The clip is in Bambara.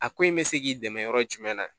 A ko in bɛ se k'i dɛmɛ yɔrɔ jumɛn na